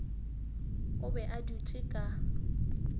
o be a dutše ka